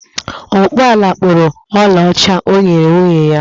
Ọkpụ ọla kpụrụ ọlaọcha o nyere nwunye ya